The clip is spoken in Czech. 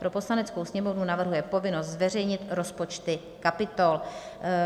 Pro Poslaneckou sněmovnu navrhuje povinnost zveřejnit rozpočty kapitol.